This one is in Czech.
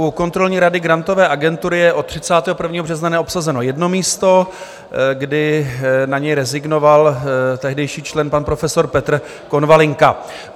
U kontrolní rady Grantové agentury je od 31. března neobsazeno jedno místo, kdy na ně rezignoval tehdejší člen, pan profesor Petr Konvalinka.